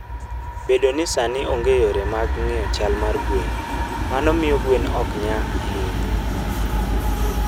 Bedo ni sani onge yore mag ng'iyo chal mar gwen, mano miyo gwen ok nya ahinya.